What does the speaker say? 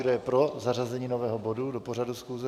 Kdo je pro zařazení nového bodu do pořadu schůze?